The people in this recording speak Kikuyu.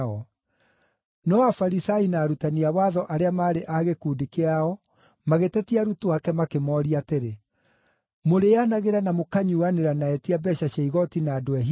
No Afarisai na arutani a watho arĩa maarĩ a gĩkundi kĩao magĩtetia arutwo ake makĩmooria atĩrĩ, “Mũrĩĩanagĩra na mũkanyuuanĩra na etia mbeeca cia igooti na andũ ehia nĩkĩ?”